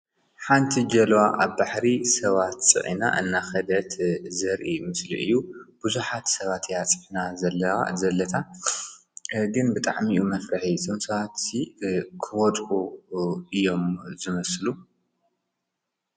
ሓንቲ ጀልባ ኣብ ባሕሪ ሰባት ፅዒና እናከደት ዘርኢ ምስሊ እዩ ።ብዙሓት ሰባት እያ ፅዒና ዘላ ዘለታ ግን ብጣዕሚ እዩ መፍርሒ እዞም ሰባትሲ ክወድቁ እዮም ዝመስሉ፡፡